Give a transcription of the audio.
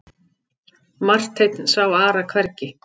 Marteinn sá Ara hvergi.